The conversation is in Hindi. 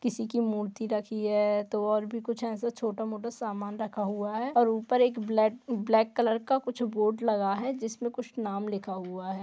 किसी की मूर्ति रखी है तो और भी कुछ है एसा छोटा मोटा समान रखा हुआ है और ऊपर एक ब्लैक कलर का कुछ बोर्ड लगा है जिसमे कुछ नाम लिखा हुआ है।